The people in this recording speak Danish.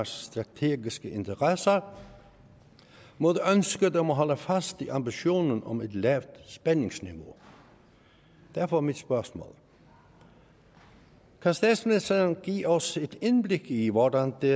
strategiske interesser mod ønsket om at holde fast i ambitionen om et lavt spændingsniveau derfor er mit spørgsmål kan statsmininsteren give os et indblik i hvordan det